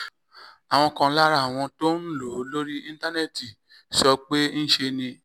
àwọn kan lára àwọn tó ń lò ó lórí íńtánẹ́ẹ̀tì sọ pé ńṣe ni